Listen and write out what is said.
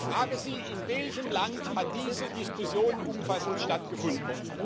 Ich frage Sie In welchem Land hat diese Diskussion umfassend stattgefunden?